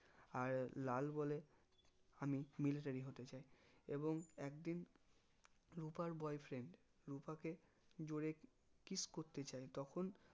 আর লাল বলে আমি military হতে চাই এবং একদিন রুপার boyfriend রুপা কে জোরে kiss করতে চাই তখন